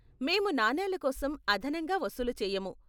మేము నాణేల కోసం అదనంగా వసూలు చేయము.